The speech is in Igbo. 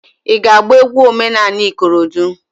I ga -agba egwu omenanị ikorodo?